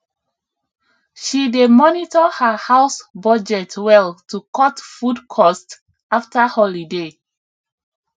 she dey monitor her house budget well to cut food cost after holiday